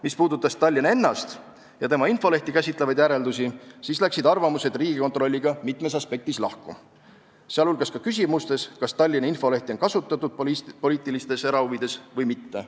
Mis puudutas Tallinna ennast ja tema infolehti käsitlevaid järeldusi, siis läksid arvamused Riigikontrolliga mitmes aspektis lahku, sh küsimustes, kas Tallinna infolehti on kasutatud poliitilistes erahuvides või mitte.